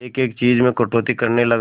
एक एक चीज में कटौती करने लगा